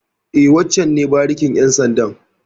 E, wancen ne barikin ƴan sandan.